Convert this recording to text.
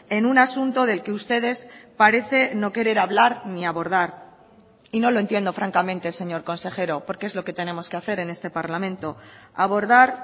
en un asunto del que ustedes parecen no querer hablar ni abordar y no lo entiendo francamente señor consejero porque es lo que tenemos que hacer en este parlamento abordar